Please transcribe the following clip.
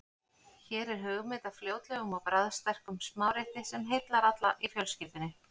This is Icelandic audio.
Hér er hugmynd að fljótlegum og bragðsterkum smárétti sem heillar alla í fjölskyldunni.